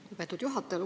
Lugupeetud juhataja!